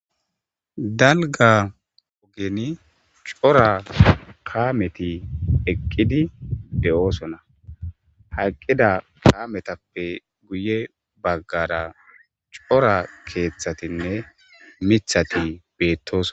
dalga ogeni cora kaameti eqqidi beyoosona haqqida kaametappe guye baggara cora keeththatinne mithati beettosona